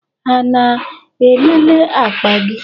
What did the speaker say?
Ha na-elele akpa gị?